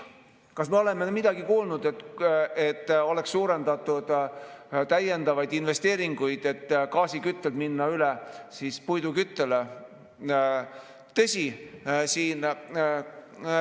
Kas me oleme kuulnud, et oleks suurendatud täiendavaid investeeringuid, et minna gaasiküttelt üle puiduküttele?